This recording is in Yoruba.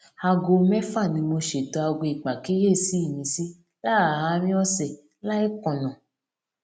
aago méfà ni mo ṣètò aago ìpàkíyèsí mi sí láàárín òsè láì kùnà